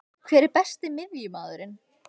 Hver er Besti miðjumaðurinn?